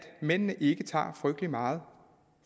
mændene ikke tager frygtelig meget